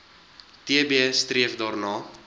tb streef daarna